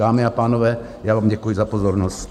Dámy a pánové, já vám děkuji za pozornost.